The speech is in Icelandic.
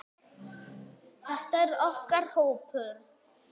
Þetta er okkar hópur.